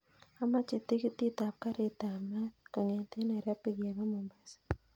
Amoche tikitit ap karit ap maat kongeten nairobi kepa mombasa